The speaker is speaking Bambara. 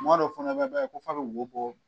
Kumadow fɛnɛ bɛ kɛ f'ɔ a bɛ bo bɔ.